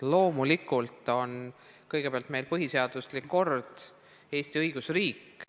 Loomulikult on meil kõige aluseks põhiseaduslik kord, Eesti on õigusriik.